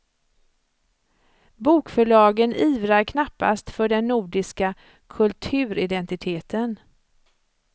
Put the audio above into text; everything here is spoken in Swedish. Bokförlagen ivrar knappast för den nordiska kulturidentiteten.